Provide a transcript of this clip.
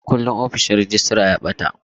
Mukullin ofishin rejistra ya ɓata.